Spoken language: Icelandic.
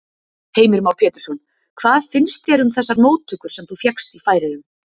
Heimir Már Pétursson: Hvað finnst þér um þessar móttökur sem þú fékkst í Færeyjum?